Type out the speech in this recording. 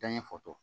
Da ɲɛ foto